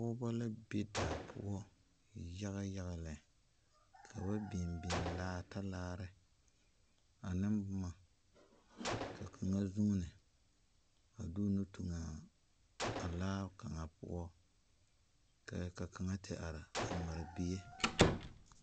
Pɔgɔbɔ la be daa poʊ yaga yaga lɛ. Ka ba biŋ biŋ laa, talaare ane boma. Ka kanga zunne a de o nu tuŋa a laa kanga poʊ. Ka kanga te are a mare bie.